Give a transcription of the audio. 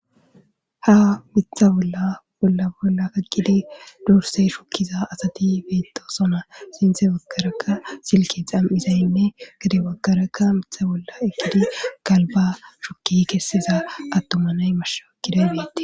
Ha mitha bolla bolla bolla kaqidi dursey shokkiza asati beetto sona sinthe bakarakka silki xam7izaynne gade bakarakka mitha bolla ekkidi galba shokki kessiza attumanay mashaakkiday beetti